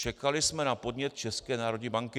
Čekali jsme na podnět České národní banky.